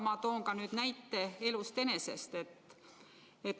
Ma toon ka näite elust enesest.